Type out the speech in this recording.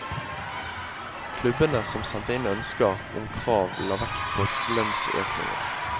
Klubbene som sendte inn ønsker om krav la vekt på lønnsøkninger.